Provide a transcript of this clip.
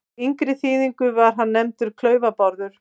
Í yngri þýðingu var hann nefndur Klaufa-Bárður.